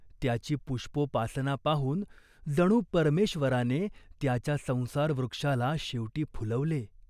त्याची पुष्पोपासना पाहून जणू परमेश्वराने त्याच्या संसारवृक्षाला शेवटी फुलवले.